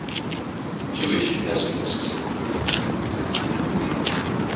jewish pacifists